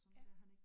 Ja